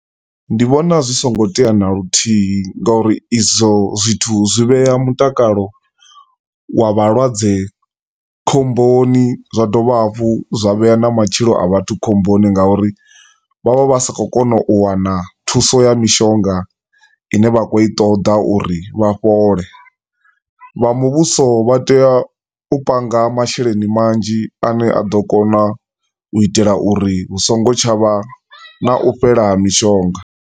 Ndi vhona zwi songo tea na luthihi ngauri izwo zwithu zwi vhea mutakalo wa vhalwadze khomboni zwa dovha hafhu zwa vhea na matshilo a vhathu khomboni ngauri vha vha vha sa khou kona u wana thuso ya mishonga i ne vha khou i ṱoḓa uri vha fhole. Vha muvhuso vha tea u panga masheleni manzhi a ne a ḓo kona u itela uri hu songo tsha vha na u fhela ha mishonga.